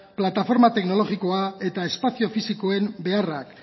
plataforma teknologikoa eta espazio fisikoen beharrak